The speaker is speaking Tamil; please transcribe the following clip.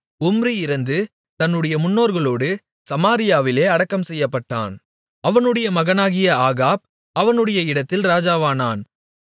உம்ரி இறந்து தன்னுடைய முன்னோர்களோடு சமாரியாவிலே அடக்கம் செய்யப்பட்டான் அவனுடைய மகனாகிய ஆகாப் அவனுடைய இடத்தில் ராஜாவானான்